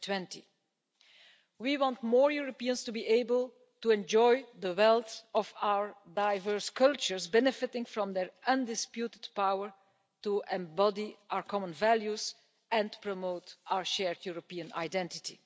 2020. We want more Europeans to be able to enjoy the wealth of our diverse cultures, benefiting from their undisputed power to embody our common values and promote our shared European identity.